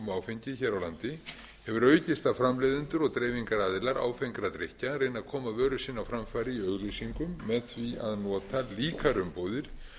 áfengi hér á landi hefur aukist að framleiðendur og dreifingaraðilar áfengra drykkja reyni að koma vöru sinni á framfæri í auglýsingum með því að nota líkar umbúðir